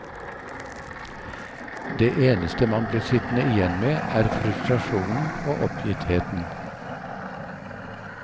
Det eneste man blir sittende igjen med er frustrasjonen og oppgittheten.